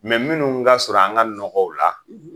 minnu ga surun an ka nɔgɔw la